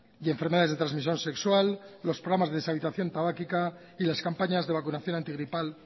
y enfermedades de transmisión sexual los programas de deshabituación tabaquica y las campañas de vacunación antigripal